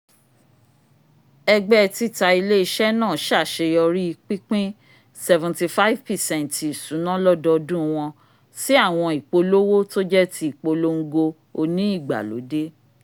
ẹgbẹ tita ile-iṣẹ naa ṣaṣeyọri pinpin seventy five percent ti ìṣúná lọdọdun wọn si awọn ipolowo t'oje tí ìpolongo oni ìgbàlódé